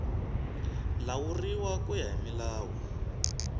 lawuriwa ku ya hi milawu